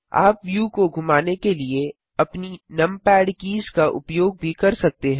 आप व्यू को घुमाने के लिए अपनी नमपैड कीज़ का उपयोग भी कर सकते हैं